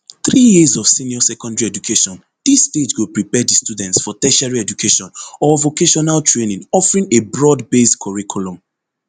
three years of senior secondary education dis stage go prepare di students for tertiary education or vocational training offering a broadbased curriculum